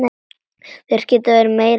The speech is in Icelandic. Þær geta verið meira saman.